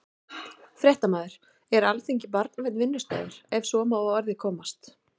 Fréttamaður: Er Alþingi barnvænn vinnustaður, ef svo má að orði komast?